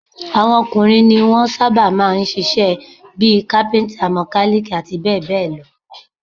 Àwọn ọkùnrin ní wọn sábà máa ń ń ṣiṣẹ́ bí i: kápíntà, mọkálíìkì, àti bẹ́ẹ̀ bẹ́ẹ̀ lọ